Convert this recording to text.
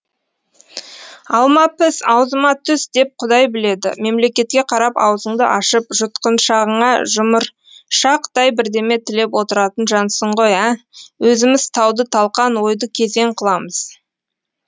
алма піс аузыма түс деп құдай біледі мемлекетке қарап аузыңды ашып жұтқыншағыңа жұмыршақтай бірдеме тілеп отыратын жансың ғой ә өзіміз тауды талқан ойды кезең қыламыз